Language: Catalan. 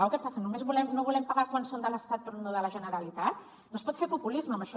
o què passa només no volem pagar quan són de l’estat però no de la generalitat no es pot fer populisme amb això